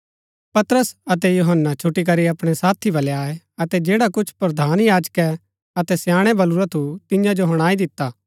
पतरस अतै यूहन्‍ना छुटीकरी अपणै साथी बलै आये अतै जैडा कुछ प्रधान याजकै अतै स्याणै बलुरा थु तियां जो हुणाई दिता